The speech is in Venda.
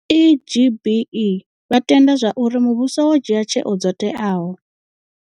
Ee vha tenda zwauri muvhuso wo dzhia tsheo dzo teaho.